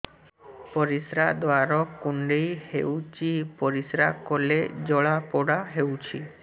ପରିଶ୍ରା ଦ୍ୱାର କୁଣ୍ଡେଇ ହେଉଚି ପରିଶ୍ରା କଲେ ଜଳାପୋଡା ହେଉଛି